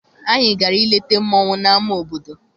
Anyị gara I leta mmọnwụ na ama obodo.